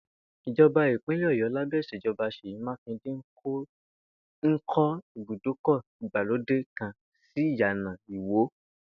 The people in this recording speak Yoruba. Ìjò̩bá ìpínlè̩ Ò̩yó̩ lábé̩ ìs̩èjo̩ba S̩èyí Mákindé ń kó ibùdókò̩ ìgbàlódé kan sí Ìyàná Ìwó